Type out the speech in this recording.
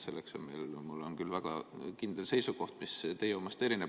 Selle kohta on mul küll väga kindel seisukoht, mis teie omast erineb.